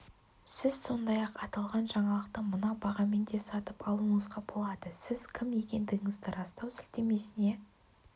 сіз сондай-ақ аталған жаңалықты мына бағамен де сатып алуыңызға болады сіз кім екендігіңізді растау сілтемесіне